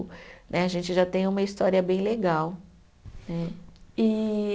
Né, a gente já tem uma história bem legal né. E